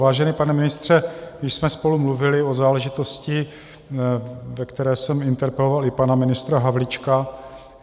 Vážený pane ministře, již jsme spolu mluvili o záležitosti, ve které jsem interpeloval i pana ministra Havlíčka.